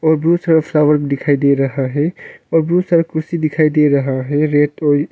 और बुत सारा फ्लॉवर दिखाई दे हैं और बुत सारा कुर्सी दिखाई दे रहा हैं रेड और--